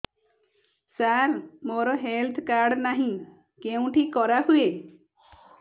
ସାର ମୋର health card ନାହିଁ କେଉଁଠି କରା ହୁଏ